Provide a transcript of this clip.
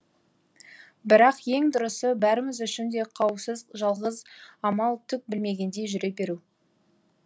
бірақ ең дұрысы бәріміз үшін де қауіпсіз жалғыз амал түк білмегендей жүре беру